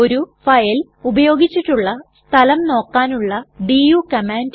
ഒരു ഫയൽ ഉപയോഗിച്ചിട്ടുള്ള സ്ഥലം നോക്കാനുള്ള ഡു കമാൻഡ്